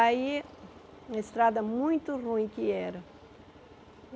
Aí, uma estrada muito ruim que era.